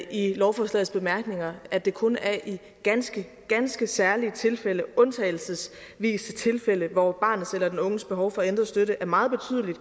i lovforslagets bemærkninger og at det kun er i ganske ganske særlige tilfælde undtagelsesvise tilfælde hvor barnets eller den unges behov for ændret støtte er meget